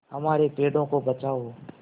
हमारे पेड़ों को बचाओ